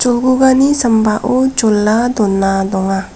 cholgugani sambao jola dona donga.